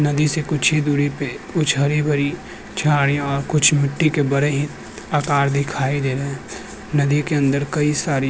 नदी से कुछ ही दूरी पे कुछ हरी-भरी झड़िया और कुछ मिट्टी के बड़े ही आकार दिखाई दे रहे हैं। नदी के अंदर कई सारी --